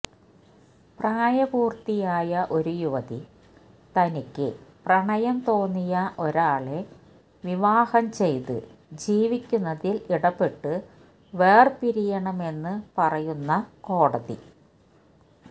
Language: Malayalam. പ്രായപൂര്ത്തിയായ ഒരു യുവതി തനിക്ക് പ്രണയം തോന്നിയ ഒരാളെ വിവാഹം ചെയ്ത് ജീവിക്കുന്നതില് ഇടപെട്ട് വേര്പിരിയണമെന്നു പറയുന്ന കോടതി